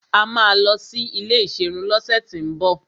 Àwa máa lọ sí ilé ìserun lọ́sẹ̀ tín bọ̀.